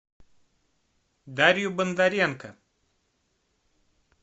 дарью бондаренко